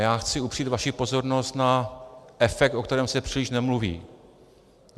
Já chci upřít vaši pozornost na efekt, o kterém se příliš nemluví.